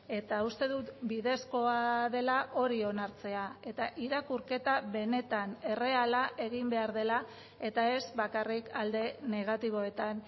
eta uste dut bidezkoa dela hori onartzea eta irakurketa benetan erreala egin behar dela eta ez bakarrik alde negatiboetan